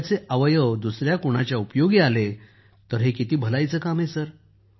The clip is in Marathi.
परंतु त्याचे अवयव दुसर्या कुणाच्या उपयोगी आले तर हे भलाईचं काम आहे